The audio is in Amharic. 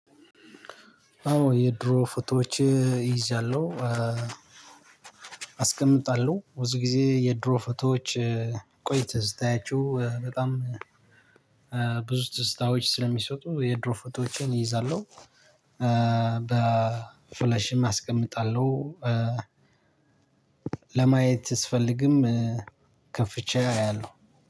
አዎ የድሮ ፎቶዎች ይዛለሁ አስቀምጣለሁ። ብዙ ጊዜ የድሮ ፎቶዎችን ቆይተ ስታያቸው በጣም ብዙ ትዝታዎች ስለሚሰጡ የድሮ ፎቶዎችን እይዛለሁ። በ ፍላሽም አስቀምጣለሁ። ለማየት ስፈልግም ከፍቼ አያለሁ።